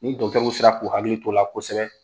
Ni dɔgɔtɛriw sira k'u hakili t'o la kosɛbɛ